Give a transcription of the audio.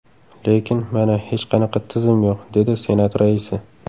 Lekin, mana, hech qanaqa tizim yo‘q”, dedi Senat raisi.